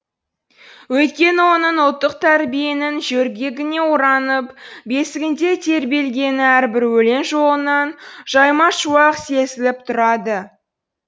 өйткені оның ұлттық тәрбиенің жөргегіне оранып бесігінде тербелгені әрбір өлең жолынан жаймашуақ сезіліп тұрады